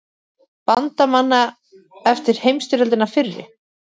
Bandamanna eftir heimsstyrjöldina fyrri.